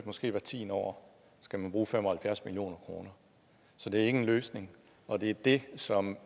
måske hvert tiende år skal man bruge fem og halvfjerds million kr så det er ikke en løsning og det er det som